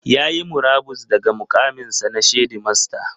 Ya yi murabus daga muƙaminsa na shedimasta.